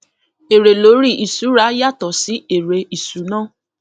èrè lórí ìṣúra yàtọ sí èrè ìṣúná